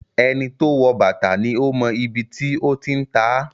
Ẹni to wọ̀ bàtà ni ó mọ ibi tí ó ti ń tá.